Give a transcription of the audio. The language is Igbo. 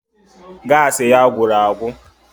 Gaasị ya gwụrụ agwụ